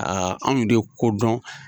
anw de kodɔn